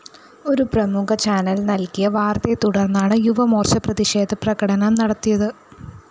ഒരു പ്രമുഖ ചാനൽ നല്‍കിയ വാര്‍ത്തയെത്തുടര്‍ന്നാണ് യുവമോര്‍ച്ച പ്രതിഷേധപ്രകടനം നടത്തിയത്